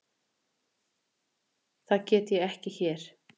Það get ég ekki hér.